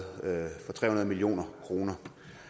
million kroner